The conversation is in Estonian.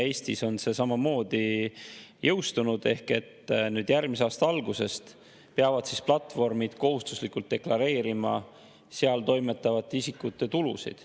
Eestis on see samamoodi jõustunud ehk et järgmise aasta algusest peavad platvormid kohustuslikult deklareerima seal toimetavate isikute tulusid.